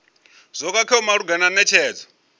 zwo khakheaho malugana na netshedzo